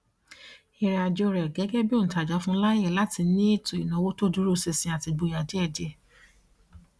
ìrìnàjò rẹ gẹgẹ bí òǹtajà fún láyè láti ní ètò ìnáwó tó dúró sinsin àti ìgboyà díẹdíẹ